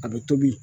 A bɛ tobi